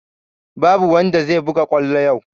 Babu wanda zai buga kwallo yau!